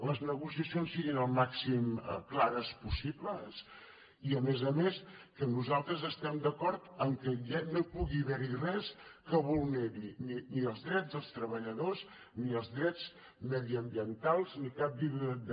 les negociacions siguin el màxim de clares possible i a més a més que nosaltres estem d’acord que ja no pugui haver hi res que vulneri ni els drets dels treballadors ni els drets mediambientals ni cap tipus de